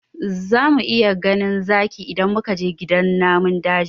Za mu iya ganin zaki idan muka je gidan namun daji